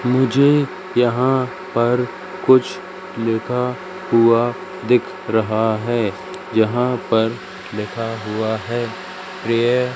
मुझे यहाँ पर कुछ लिखा हुआ दिख रहा हैं जहाँ पर लिखा हुआ हैं --